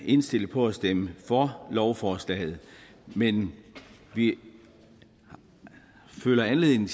indstillet på at stemme for lovforslaget men vi føler anledning